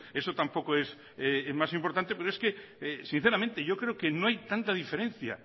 eso tampoco es más importante pero es que sinceramente yo creo que no hay tanta diferencia